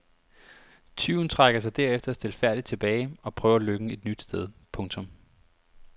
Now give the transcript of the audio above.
Tyven trækker sig derefter stilfærdigt tilbage og prøver lykken et nyt sted. punktum